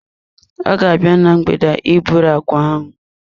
Ọ ga-abịa na mgbede a iburu agwa ahụ.